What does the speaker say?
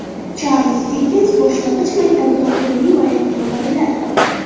Charlz Dikkens boshlang‘ich maktabida qo‘lini yuvayotgan bolalar.